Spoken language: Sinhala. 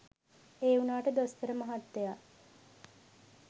ඒවුණාට දොස්තර මහත්තයා